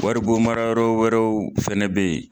Waribonmara yɔrɔ wɛrɛw fɛnɛ be yen